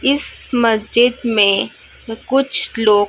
इस मस्जिद में कुछ लोग--